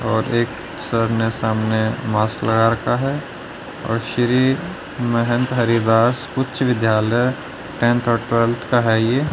और एक सर ने सामने मास्क लगा रखा है और श्री महंत हरिवास उच्च विद्यालय टेंथ और ट्वेल्थ का है ये।